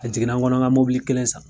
A jiginna n kɔnɔ n ka kelen san.